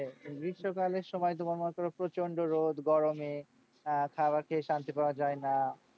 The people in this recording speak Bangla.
গ্রীষ্মকালের সময় তোমার মনে করো প্রচন্ড রোদ গরমে আহ খাবার খেয়ে শান্তি পাওয়া যায়না,